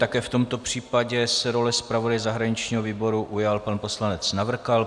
Také v tomto případě se role zpravodaje zahraničního výboru ujal pan poslanec Navrkal.